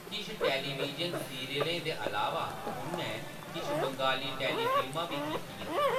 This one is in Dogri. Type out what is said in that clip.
किश टेलीविजन सीरियलें दे अलावा, उʼनैं किश बंगाली टेली-फिल्मां बी कीतियां।